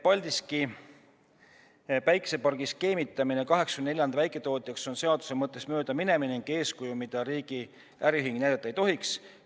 Paldiski päikesepargiga skeemitamine, jagades selle 84 väiketootjaks, on seaduse mõttest mööda minemine ja eeskuju, mida riigi äriühing näidata ei tohiks.